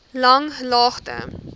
langlaagte